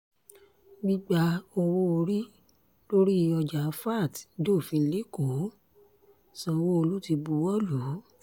gbígba owó-orí lórí ọjà vat dofin lẹ́kọ̀ọ́ sanwó-olu ti buwọ́ lù ú